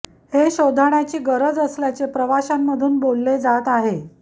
हे शोधण्याची गरज असल्याचे प्रवशांमधून बोलले जात आहे